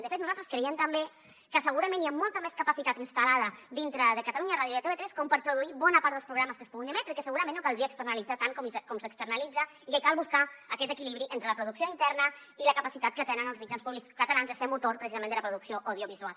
de fet nosaltres creiem també que segurament hi ha molta més capacitat instal·lada dintre de catalunya ràdio i de tv3 com per produir bona part dels programes que es puguin emetre i que segurament no caldria externalitzar tant com s’externalitza i que cal buscar aquest equilibri entre la producció interna i la capacitat que tenen els mitjans públics catalans de ser motor precisament de la producció audiovisual